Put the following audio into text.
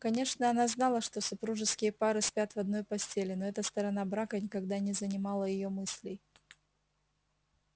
конечно она знала что супружеские пары спят в одной постели но эта сторона брака никогда не занимала её мыслей